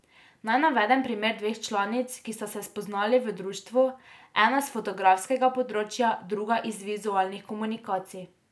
Naj navedem primer dveh članic, ki sta se spoznali v društvu, ena s fotografskega področja, druga iz vizualnih komunikacij.